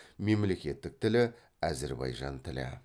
мемлекеттік тілі әзірбайжан тілі